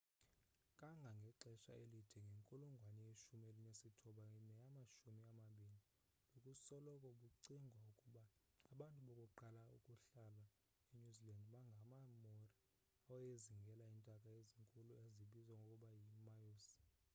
kangangexesha elide ngenkulungwane yeshumi elinesithoba neyamashumi amabini bekusoloko kucingwa ukuba abantu bokuqala ukuhlala enew zealand ngamamaori awayezingela iintaka ezinkulu ezibizwa ngokuba yi-moas